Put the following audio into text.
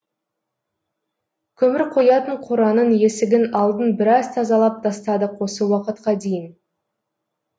көмір қоятын қораның есігін алдын біраз тазалап тастадық осы уақытқа дейін